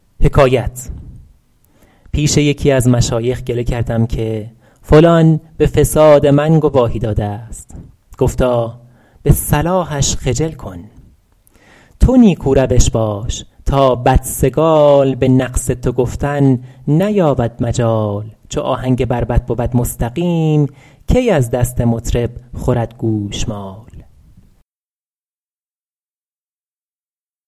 پیش یکی از مشایخ گله کردم که فلان به فساد من گواهی داده است گفتا به صلاحش خجل کن تو نیکو روش باش تا بدسگال به نقص تو گفتن نیابد مجال چو آهنگ بربط بود مستقیم کی از دست مطرب خورد گوشمال